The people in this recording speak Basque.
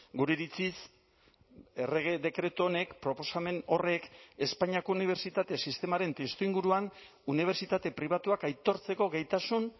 gure iritziz errege dekretu honek proposamen horrek espainiako unibertsitate sistemaren testuinguruan unibertsitate pribatuak aitortzeko gaitasun